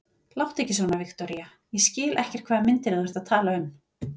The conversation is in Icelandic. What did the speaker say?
Láttu ekki svona, Viktoría, ég skil ekkert hvaða myndir þú ert að tala um.